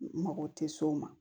Mako tɛ s'o ma